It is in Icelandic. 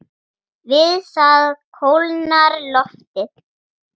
Við það kólnar loftið.